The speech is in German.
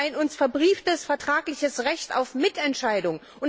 Wir haben ein uns verbrieftes vertragliches Recht auf Mitentscheidung.